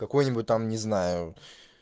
какой-нибудь там не знаю